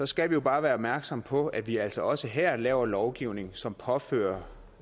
skal vi jo bare være opmærksomme på at vi altså også her laver lovgivning som påfører